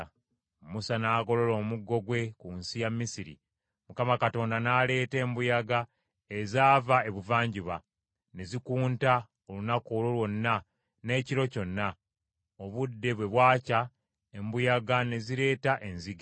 Musa n’agolola omuggo gwe ku nsi ya Misiri; Mukama Katonda n’aleeta embuyaga ezaava ebuvanjuba, ne zikunta olunaku olwo lwonna n’ekiro kyonna. Obudde bwe bwakya embuyaga ne zireeta enzige.